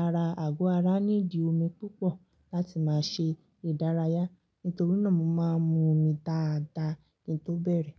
ara àgọ́ ara ní ìdí omi púpọ̀ láti má ṣe ìdárayá. Nítorí náà mo máa ń mu omi dáadáa kí n tó bẹ̀rẹ̀